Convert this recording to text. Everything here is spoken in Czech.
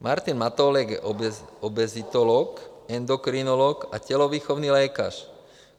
Martin Matoulek je obezitolog, endokrinolog a tělovýchovný lékař.